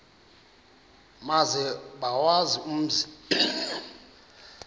maze bawazi umzi